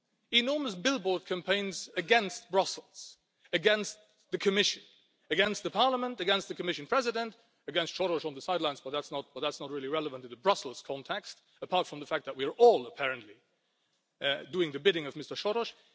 Enormous billboard campaigns against Brussels, against the Commission, against Parliament, against the Commission President, against Soros on the sidelines but that is not really relevant in the Brussels context, apart from the fact that we are all apparently doing the bidding of Mr Soros.